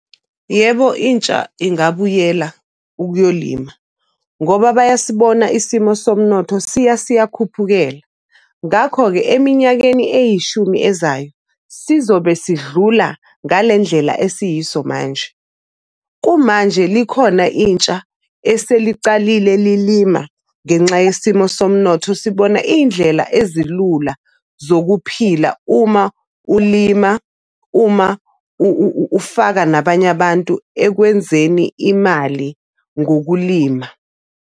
Yebo, intsha ingabuyela ukuyolima ngoba bayasibona isimo somnotho siyakhuphukela, ngakho-ke eminyakeni eyishumi ezayo sizobe sidlula ngale ndlela esiyiso manje. Kumanje likhona intsha eselicalile lilima ngenxa yesimo somnotho, sibona iy'ndlela ezilula zokuphila. Uma ulima, uma ufaka nabanye abantu ekwenzeni imali ngokulima.